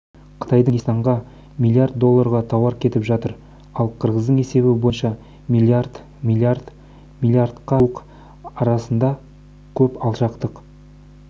қытайдың есебі бойынша қырғызстанға миллиард долларға тауар кетіп жатыр ал қырғыздың есебі бойынша миллиард миллиард миллиард миллиардқа жуық арасында көп алшақтық